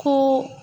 Ko